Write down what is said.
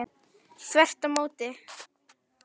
Þvert á móti